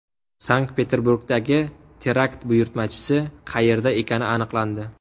Sankt-Peterburgdagi terakt buyurtmachisi qayerda ekani aniqlandi.